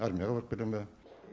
армияға барып келе ма